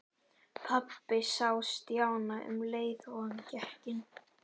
Pabbi sá Stjána um leið og hann gekk inn.